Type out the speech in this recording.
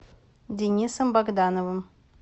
денисом богдановым